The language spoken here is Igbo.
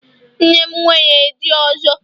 Nne m nwere di ọzọ